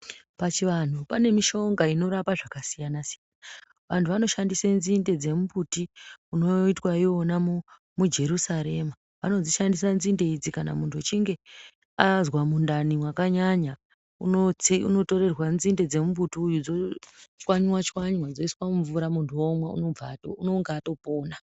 Pachivanhu pane mishonga inorapa zvakasiyana siyana_siyana. Vantu vanoshandise nzinde dzemumbuti unoitwa iwona mujerusarema. Vanodzishandisa nzinde idzi kurapa kana muntu achinge azwa mundani mwakanyanya, unotorerwa nzinde dzemumbuti uyu dzochwanywa_chwanywa dzoiswa mumvura muntu omwa unonga atopona.